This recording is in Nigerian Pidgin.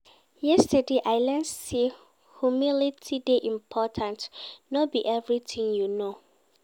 Yesterday, I learn sey humility dey important, no be everytin you know.